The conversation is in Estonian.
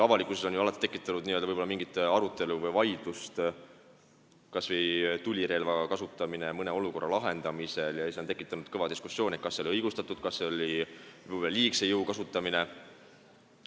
Avalikkuses on ju alati tekitanud arutelu või vaidlust kas või tulirelva kasutamine mõne olukorra lahendamisel, et kas see oli õigustatud, kas see oli võib-olla liigse jõu kasutamine.